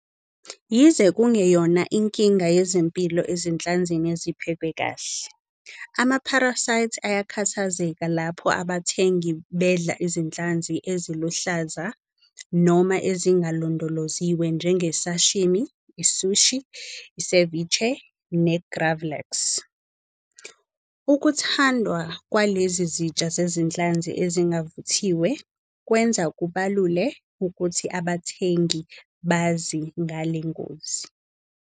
Yize kungeyona inkinga yezempilo ezinhlanzini eziphekwe kahle, ama-parasites ayakhathazeka lapho abathengi bedla izinhlanzi eziluhlaza noma ezingalondoloziwe njenge- sashimi, i- sushi, i- ceviche ne- gravlax. Ukuthandwa kwalezi zitsha zezinhlanzi ezingavuthiwe kwenza kubalule ukuthi abathengi bazi ngale ngozi.